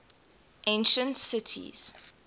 ancient cities